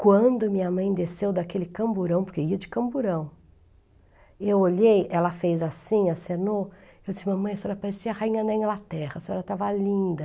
Quando minha mãe desceu daquele camburão, porque ia de camburão, eu olhei, ela fez assim, acenou, eu disse, mamãe, a senhora parecia a rainha da Inglaterra, a senhora estava linda.